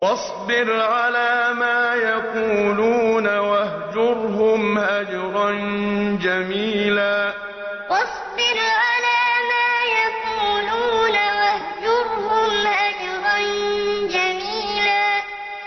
وَاصْبِرْ عَلَىٰ مَا يَقُولُونَ وَاهْجُرْهُمْ هَجْرًا جَمِيلًا وَاصْبِرْ عَلَىٰ مَا يَقُولُونَ وَاهْجُرْهُمْ هَجْرًا جَمِيلًا